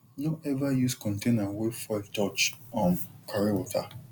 no ever use container wey fuel touch um carry water